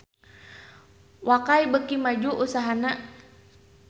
Wakai beuki maju usahana